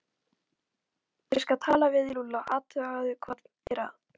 Ég skal tala við Lúlla og athuga hvað er að